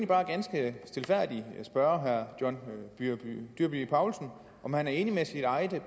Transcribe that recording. bare ganske stilfærdigt spørge herre john dyrby paulsen om han er enig med sit eget